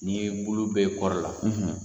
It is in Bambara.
N'i bulu be kɔri la